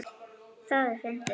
Það er fyndið.